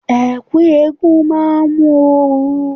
Ẹ̀ẹ̀ku eégún máa mú ooru.